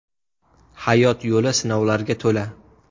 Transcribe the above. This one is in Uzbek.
Hayot yo‘li sinovlarga to‘la.